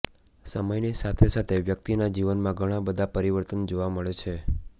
સમયની સાથે સાથે વ્યક્તિના જીવનમાં ઘણા બધા પરિવર્તન જોવા મળે છે